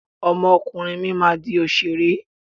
Ọmọ ọkùnrin mi máa di òṣèré.